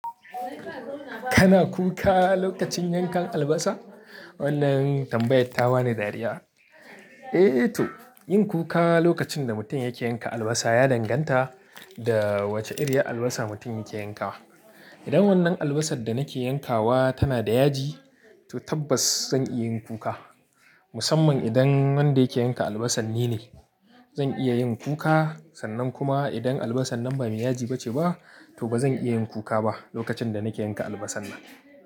Kana kuka lokacin yankan albasa? Wannan tambayatar ta bani dariya. Eh to yin kuka lokacin da mutum yake yanka albasa ya danganta da wace iriyar albasa mutum yake yankawa. Idan wannan albasar da nake yankawa tana da yaji, to tabbas zan iya yin kuka. Musamman idan wanda yake yanka albasan ni ne, zan iya yin kuka. Sannan kuma idan albasan nan ba mai yaji ba ce ba, to ba zan iya yin kuka ba lokacin da nake yanka albasan nan.